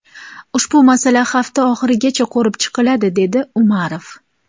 Ushbu masala hafta oxirigacha ko‘rib chiqiladi”, dedi Umarov.